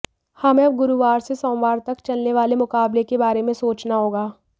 हमें अब गुरूवार से सोमवार तक चलने वाले मुकाबले के बारे में सोचना होगा